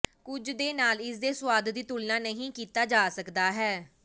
ਕੁਝ ਦੇ ਨਾਲ ਇਸ ਦੇ ਸੁਆਦ ਦੀ ਤੁਲਨਾ ਨਹੀ ਕੀਤਾ ਜਾ ਸਕਦਾ ਹੈ